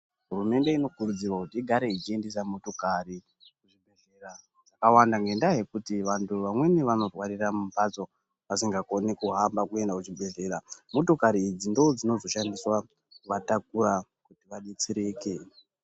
Hurumende inokurudzurwa kuti igare ichiendesa motokari zvakawanda nekuu vantu vamwenu vanorwarira mumbatso vasingakomi Vasingakomi kuhamba kuenda kuzvibhedhlera motokari idzi ndodzozoshanda kuvatakura kuti vadetsereke.